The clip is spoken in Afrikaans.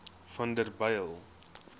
vanderbijl